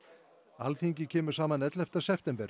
Alþingi kemur saman ellefta september